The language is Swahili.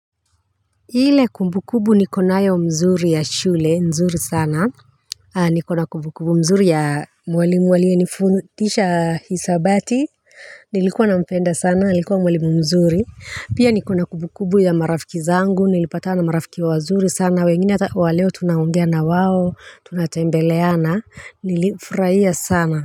Ile kumbukubu niko nayo mzuri ya shule nzuri sana nikona kumbu kumbu mzuri ya mwalimu aliyenifundisha hisabati nilikuwa nampenda sana alikuwa mwalimu mzuri. Pia nikona kumbu kumbu ya marafiki zangu nilipatana na marafiki wazuri sana wengine hata wa leo tunaongea na wao tunatembeleana nilifurahia sana.